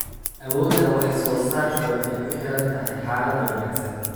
Awoodda wax-soo-saarku waxay ku xiran tahay xaaladaha wanaagsan.